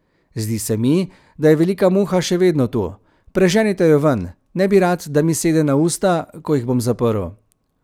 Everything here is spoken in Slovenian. Zdi se mi, da je velika muha še vedno tu, preženite jo ven, ne bi rad, da mi sede na usta, ko jih bom zaprl.